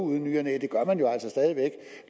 ny og næ